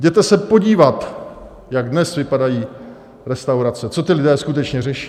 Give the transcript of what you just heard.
Jděte se podívat, jak dnes vypadají restaurace, co ti lidé skutečně řeší.